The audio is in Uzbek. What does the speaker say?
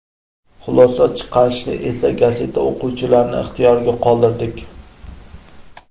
Xulosa chiqarishni esa gazeta o‘quvchilarining ixtiyoriga qoldirdik.